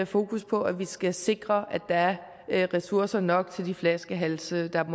fokus på at vi skal sikre at der er ressourcer nok til de flaskehalse der